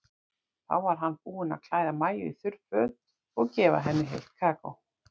Þá var hann búinn að klæða Maju í þurr föt og gefa henni heitt kakó.